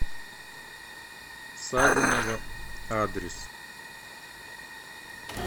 савиново адрес